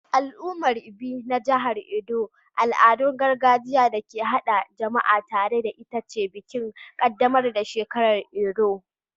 A al'ummar Ibie na jihar Edo al'adar gargajiya da ke haɗa jama'a tare ita ce bikin ƙaddamar da shekaru Erua.